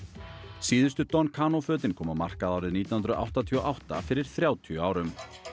síðustu don fötin komu á markað árið nítján hundruð áttatíu og átta fyrir þrjátíu árum